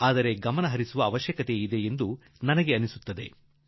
ಇದು ಗಮನಕ್ಕೆ ತೆಗೆದುಕೊಳ್ಳುವ ವಿಷಯ ಎಂದು ನನಗನಿಸುತ್ತದೆ